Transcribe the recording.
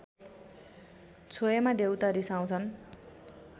छोएमा देउता रिसाउँछन्